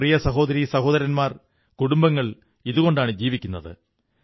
നമ്മുടെ പ്രിയ സഹോദരീസഹോദരന്മാരുടെ കുടുംബങ്ങൾ ഇതുകൊണ്ടാണു ജീവിക്കുന്നത്